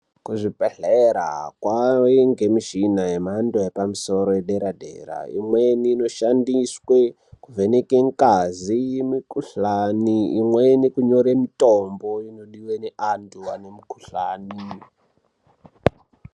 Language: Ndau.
Kuzvibhedhlera kwavange mishina yemhando yepamusoro yedera dera imweni inoshandiswe kuvheneke ngazi , mikhuhlani, imweni kunyore mitombo inodiwe ngeantu vane mikhuhlani.